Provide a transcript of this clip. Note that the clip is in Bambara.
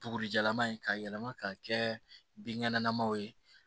Tugurijalan in ka yɛlɛma ka kɛ binkɛnɛlamaw ye